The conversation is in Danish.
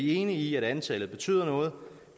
er enige i at antallet betyder noget